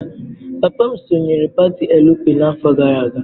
Papa m sonyeere pati Elu Pi n'afọ gara aga.